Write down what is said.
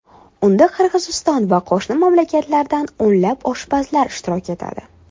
Unda Qirg‘iziston va qo‘shni mamlakatlardan o‘nlab oshpazlar ishtirok etadi.